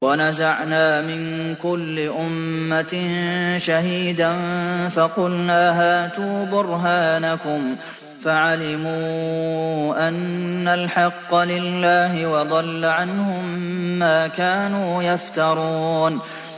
وَنَزَعْنَا مِن كُلِّ أُمَّةٍ شَهِيدًا فَقُلْنَا هَاتُوا بُرْهَانَكُمْ فَعَلِمُوا أَنَّ الْحَقَّ لِلَّهِ وَضَلَّ عَنْهُم مَّا كَانُوا يَفْتَرُونَ